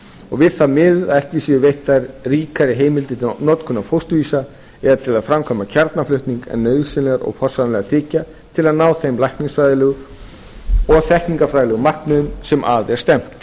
og við það miðuð að ekki séu veittar ríkari heimildir til notkunar fósturvísa eða til að framkvæma kjarnaflutning en nauðsynlegar og forsvaranlegar þykja til að ná þeim læknisfræðilegu og þekkingarfræðileg markmiðum sem að er stefnt